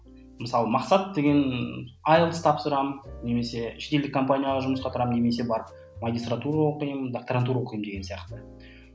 мысалы мақсат деген айлс тапсырамын немесе шетелдік компанияға жұмысқа тұрамын немесе барып магистратура оқимын докторантура оқимын деген сияқты